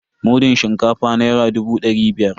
Mudun shinkafa naira dubu da dari biyar.